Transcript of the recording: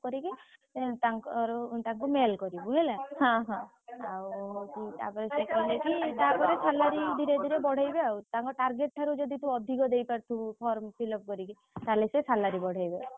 କରିକି ଏଁ ତାଙ୍କର ତାଙ୍କୁ mail କରିବୁ ହେଲା ଆଉ ହଉଛି ତାପରେ ସିଏ କହିଲେ କି ତାପରେ salary ଧୀରେ ଧୀରେ ବଢେଇବେ ଆଉ ତାଙ୍କ target ଠାରୁ ତୁ ଯଦି ଅଧିକ ଦେଇପାରୁଥିବୁ form fill up କରିକି ତାହେଲେ ସେ salary ବଢେଇବେ।